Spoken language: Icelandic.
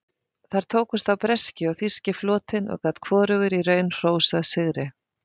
Þar tókust á breski og þýski flotinn og gat hvorugur í raun hrósað sigri.